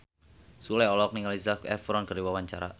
Sule olohok ningali Zac Efron keur diwawancara